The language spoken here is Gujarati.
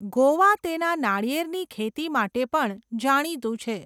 ગોવા તેના નાળિયેરની ખેતી માટે પણ જાણીતું છે.